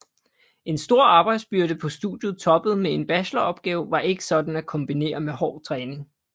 En stor arbejdsbyrde på studiet toppet med en bacheloropgave var ikke sådan at kombinere med hård træning